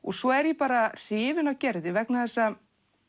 svo er ég bara hrifin af Gerði vegna þess að